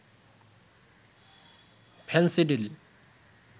Phensedyl